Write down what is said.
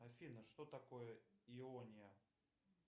афина что такое иония